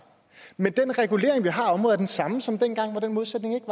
men den regulering man har af området er den samme som dengang hvor den modsætning ikke